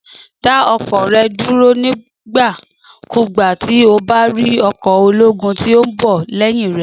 Dà ọkọ̀ rẹ dúró nígbà kúgbà tí o bá rí ọkọ̀ ológun tíí o nbọ léyìn rẹ